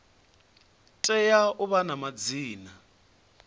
tea u vha na madzina